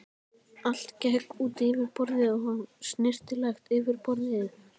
Allt gekk út á yfirborðið, snyrtilegt yfirborðið.